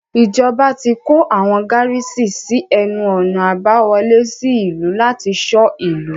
Ìjọba ti kó àwọn gárísì sí ẹnu-ọ̀nà àbá wọlé sí ìlú láti ṣọ́ ìlú.